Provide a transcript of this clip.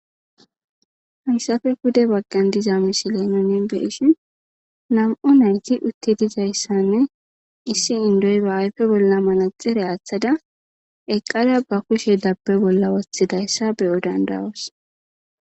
hayssafe gude bagqan diza misiley nunin beishin nam7o nayti utti dizayssanne issi indoy ba ayfe bolla malaxere aaththada eqqara ba kushe dabbe bolla wothidayssa beyo dandawos